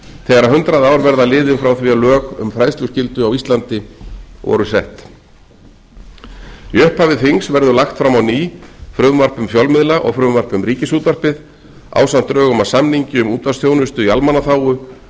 þegar hundrað ár verða liðin frá því að lög um fræðsluskyldu á íslandi voru sett í upphafi þings verður lagt fram á ný frumvarp um fjölmiðla og frumvarp um ríkisútvarpið ásamt drögum að samningi um útvarpsþjónustu í almannaþágu